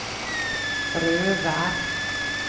Røvær